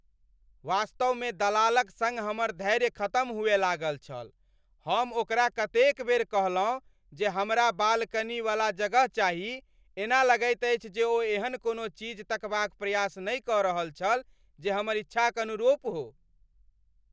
वास्तवमे दलालक सङ्ग हमर धैर्य खतम हुअय लागल छल। हम ओकरा कतेक बेर कहलहुँ जे हमरा बालकनीवला जगह चाही। एना लगैत अछि जे ओ एहन कोनो चीज तकबाक प्रयास नहि कऽ रहल छल जे हमर इच्छाक अनुरूप हो।